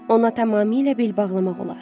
Ona tamamilə bel bağlamaq olar.